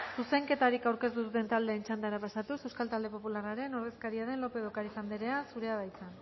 zuzenketari aurkeztu duten txandara pasatuz euskal talde popularraren ordezkaria den lópez de ocariz andrea zurea da hitza